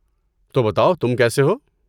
تو بتاؤ تم کیسے ہو؟